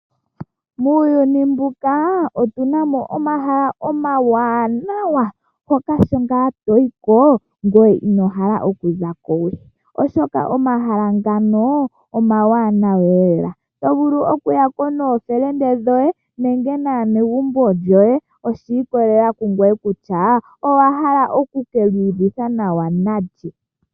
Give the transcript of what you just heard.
Muuyuni mbuka otuna mo omahala omawanawa mpoka sho nga toyiko ngoye ino hala oku zakowe ,oshoka omahala ngano omawanawa lela to vulu okuyako nookume koye nenge naanegumbo lyoye oshi ikolelela kungoye kutya owa hala oku kiyu vitha nawa nalye.